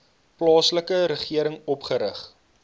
plaaslike regering opgerig